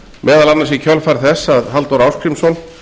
meðal annars í kjölfar þess að halldór ásgrímsson